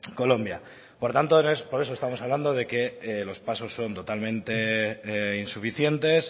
colombia por tanto por eso estamos hablando de que los pasos son totalmente insuficientes